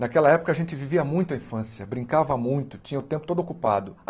Naquela época a gente vivia muito a infância, brincava muito, tinha o tempo todo ocupado.